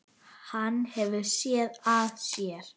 Hann hefur SÉÐ AÐ SÉR.